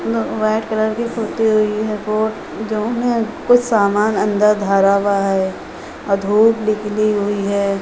White colour की पुती हुई है बोट जो में कुछ सामान अंदर धरा हुआ है और धूप निकली हुई है।